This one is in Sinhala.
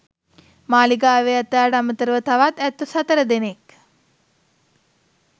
මාලිගාවේ ඇතාට අමතර ව තවත් ඇත්තු සතර දෙනෙක්